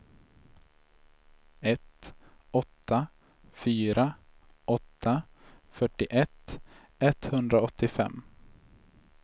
ett åtta fyra åtta fyrtioett etthundraåttiofem